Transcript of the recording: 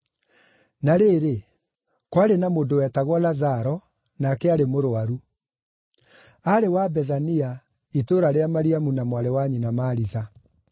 Na rĩrĩ, kwarĩ na mũndũ wetagwo Lazaro, nake aarĩ mũrũaru. Aarĩ wa Bethania, itũũra rĩa Mariamu na mwarĩ wa nyina Maritha.